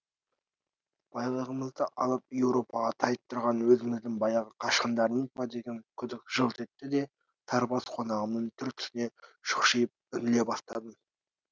байлығымызды алып еуропаға тайып тұрған өзіміздің баяғы қашқындарымыз ба деген күдік жылт етті де сары бас қонағымның түр түсіне шұқшиып үңіле бастадым